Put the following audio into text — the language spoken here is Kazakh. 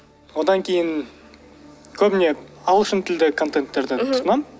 одан кейін көбіне ағылшын тілде контентерді тұтынамын